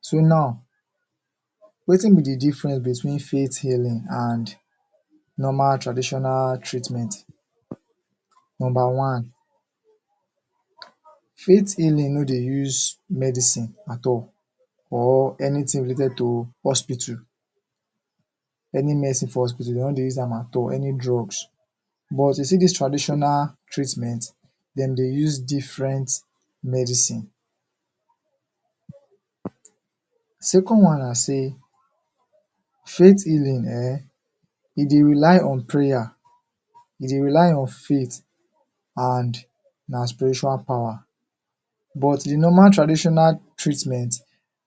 So now, wetin be de difference between faith healing and normal traditional treatment? Nomba one, faith healing no dey use medicine at all or anytin related to hospital. Any medicine for hospital dem no dey use am at all, any drugs. But you see dis traditional treatment, dem dey use different medicine. Second one na sey, faith healing eh, e dey rely on prayer, e dey rely on faith, and na spiritual power. But the normal traditional treatment,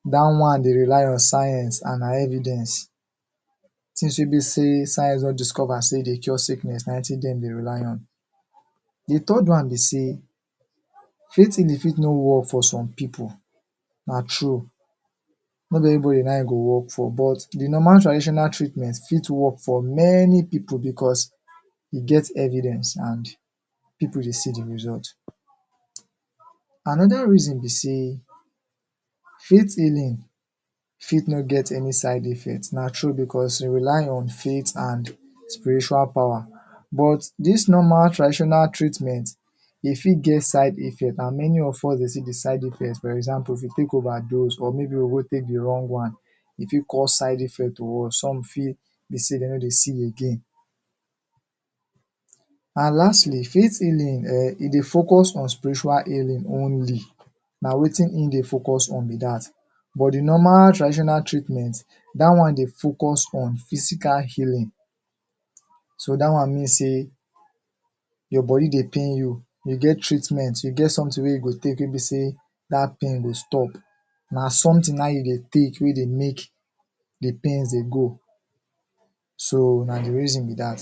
dat one de rely on science and na evidence. Since wey be sey science don discover sey e dey cure sickness na wetin dem dey rely on. De third one be sey faith healing fit no work for some pipo, na true. Not everybody na it e go work for but de normal traditional treatment fit work for many pipo becos e get evidence and pipo dey see de result. Anoda reason be sey, faith healing fit no get any side effect, na true becos e rely on faith and spiritual power. But dis normal traditional treat e fit get side effect and many of us dey see de side effect for example if you take overdose or maybe we go go take de wrong one, if fit cause side effect to us, some fit, dem no dey see again. And lastly, faith healing eh e dey focus on spiritual healing only. Na wetin e dey focus on be dat. But de normal traditional treatment, dat one de focus on normal physical healing. So dat one mean sey, your body de pain you, you get treatment, you get sometin wey you go take, wey be sey dat pain go stop. Na sometin na it you dey take wey dey make de pains dey go, so na de reason be dat.